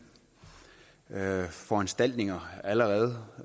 foranstaltninger allerede